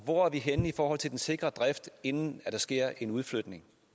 hvor er vi henne i forhold til den sikre drift inden der sker en udflytning